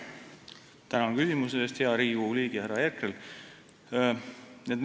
Tänan küsimuse eest, hea Riigikogu liige härra Herkel!